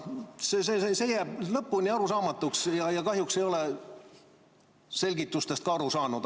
See jääb lõpuni arusaamatuks ja kahjuks ei ole selgitustest ka aru saanud.